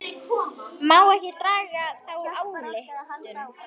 Má ekki draga þá ályktun?